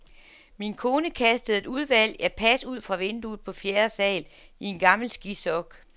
Min kone kastede et udvalg af pas ud fra vinduet på fjerde sal i en gammel skisok.